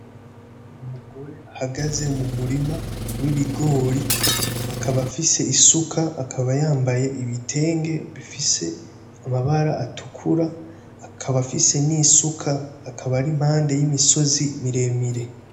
Umugore ahagaze mu murima w'ibigori akaba afise isuka, akaba yambaye ibitenge bifise amabara bitukura akaba afise n'isuka akaba ari mpande y'imisozi miremire.